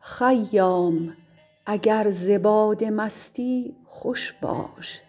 خیام اگر ز باده مستی خوش باش